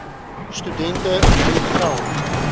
studente nou geld